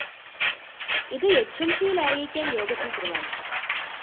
ഇത് എച്ച്എംസിയില്‍ അറിയിക്കാന്‍ യോഗത്തില്‍ തീരുമാനിച്ചു